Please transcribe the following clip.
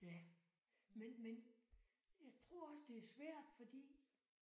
Ja men men jeg tror også det er svært fordi